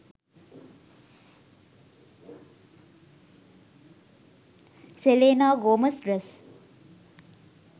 selena gomez dress